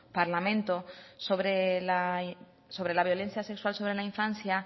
parlamento sobre la violencia sexual sobre la infancia